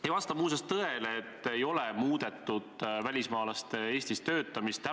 Ei vasta muuseas tõele, et ei ole muudetud välismaalaste Eestis töötamise korda.